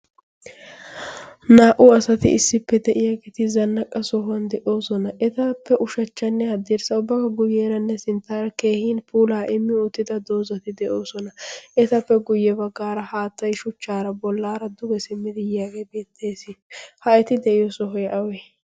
naa'u asati issippe de'iyaa geti zannaqqa sohuwan de'oosona. etappe ushachchanne addiirssa ubbaga guyyeeranne sinttaara keehin puulaa immi oottida doozati de'oosona etappe guyye baggaara haattai shuchchaara bollaara duge simmidi yaagee beettees ha eti de'iyo sohoy awe?